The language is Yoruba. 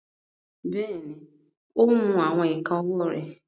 Bẹ́ẹ̀ni, o ń mu awọn ika ọwọ re